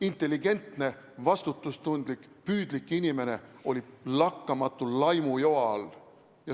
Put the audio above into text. Intelligentne, vastutustundlik, püüdlik inimene oli lakkamatu laimujoa all.